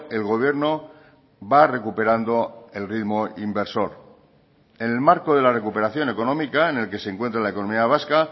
el gobierno va recuperando el ritmo inversor en el marco de la recuperación económica en el que se encuentra la economía vasca